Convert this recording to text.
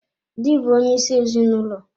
Dị bụ onyeisi ezinụlọ.